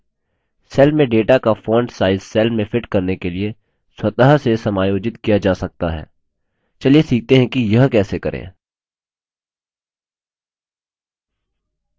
cell में data का font size cell में फिट करने के लिए स्वतः से समायोजित किया जा सकता है चलिए सीखते हैं कि यह कैसे करें